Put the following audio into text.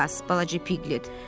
Qulaq as, balaca Piqlet.